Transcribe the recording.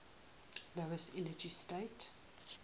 lowest energy state